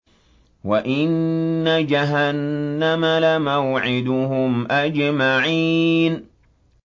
وَإِنَّ جَهَنَّمَ لَمَوْعِدُهُمْ أَجْمَعِينَ